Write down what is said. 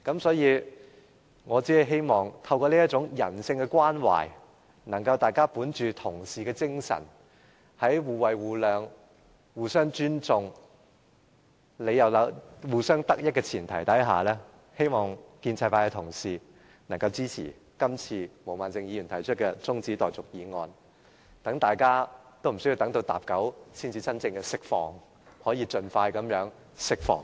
所以，我希望透過這種人性關懷，大家可以本着作為同事的精神，在互惠互諒、互相尊重、互相得益的前提下，希望建制派同事可以支持毛孟靜議員今次提出的中止待續議案，讓大家無須每次要等到分針指向45才可釋放，而是真正能夠盡快釋放。